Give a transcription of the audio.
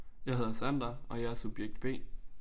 Jeg hedder Sander og jeg er subjekt B